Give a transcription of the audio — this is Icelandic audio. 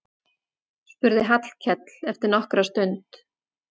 spurði Hallkell eftir nokkra stund.